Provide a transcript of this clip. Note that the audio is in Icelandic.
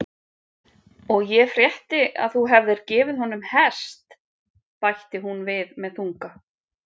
Og ég frétti þú hefðir gefið honum hest, bætti hún við með þunga.